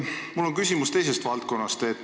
Mul on küsimus teisest valdkonnast.